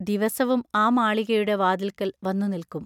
ദിവസവും ആ മാളികയുടെ വാതിൽക്കൽ വന്നു നിൽക്കും.